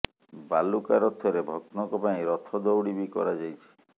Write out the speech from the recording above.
ବାଲୁକା ରଥରେ ଭକ୍ତଙ୍କ ପାଇଁ ରଥ ଦଉଡି ବି କରାଯାଇଛି